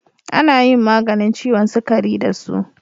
Ana yin maganin ciwon sukari da su.